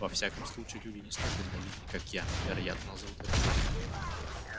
во всяком случае люди не столь дальновидные как я вероятно назовут это так